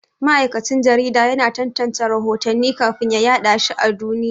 Mai aikin jarida yana tantance rahotanni kafin ya yaɗa shi a duniya.